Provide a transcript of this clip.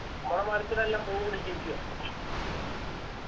നമ്മളെ മരത്തിനെല്ലാം പൂ പിടിച്ചിരിക്കാ